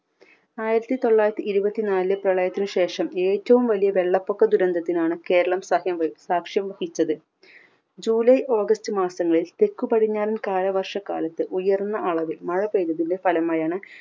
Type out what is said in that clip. ആയിരത്തി തൊള്ളായിരത്തി ഇരുപത്തിനാലിലെ പ്രളയത്തിന് ശേഷം ഏറ്റവും വലിയ വെള്ളപ്പൊക്ക ദുരന്തത്തിനാണ് കേരളം സാഹ്യം സാക്ഷ്യം വഹിച്ചത്. ജൂലൈ ഓഗസ്റ്റ് മാസങ്ങളിൽ തെക്ക് പടിഞ്ഞാറൻ കാലവർഷക്കാലത്ത് ഉയർന്ന അളവിൽ മഴ പെയ്തതിന്റെ ഫലമായാണ്